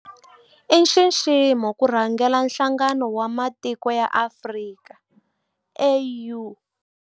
I nxiximo ku rhangela Nhlangano wa Matiko ya Afrika, AU.